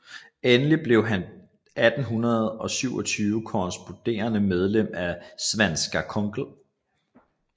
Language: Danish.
Endelig blev han 1827 korresponderende medlem af Svenska kongl